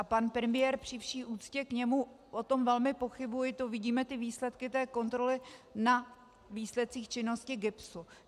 Ani pan premiér, při vší úctě k němu, o tom velmi pochybuji, to vidíme, ty výsledky té kontroly na výsledcích činnosti GIBSu.